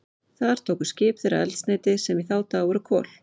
Þar tóku skip þeirra eldsneyti, sem í þá daga voru kol.